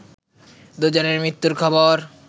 দুজনের মৃত্যুর খবর